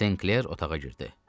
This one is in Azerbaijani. Senkler otağa girdi.